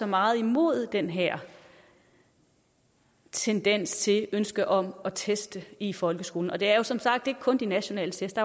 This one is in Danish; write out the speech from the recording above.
meget imod den her tendens til det ønske om at teste i folkeskolen og det er som sagt ikke kun de nationale test